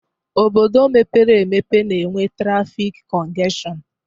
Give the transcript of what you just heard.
Obodo mepere emepe na enwe trafik kongeshon